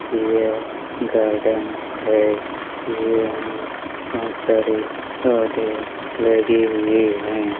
यह गार्डन है यहाँ बहुत सारे पौधे लगे हुए हैं।